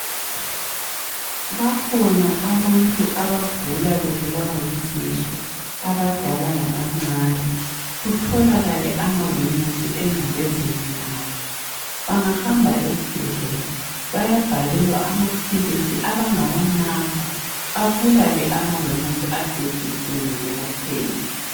Bakhona abantu abagula bebulawa yizisu. Abadala labancane. Kutholakale amawemusi engcekezeni yabo. Bangahamba esibhedlela bayabhalelwa amapilisi abangawanatha abulale amawemusi asesuswini belapheke.